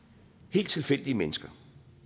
helt tilfældige mennesker